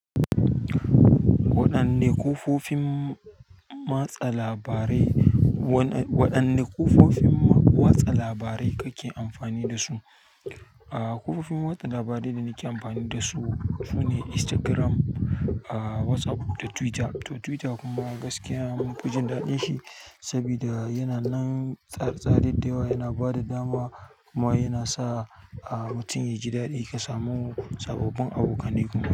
Waɗanne kafofin watsa labarai, waɗanne kafofin watsa labarai kake amfani da su? Kafofin yaɗa labarai da nake amfani dasu, sune Instagram, WhatsApp da Twitter. To Twitter kuma gaskiya munfi jin daɗin shi, sabida yana nan tsare tsare da yawa yana ba da dama kuma yana sa mutum yaji daɗi ya samu sababbin abokanai.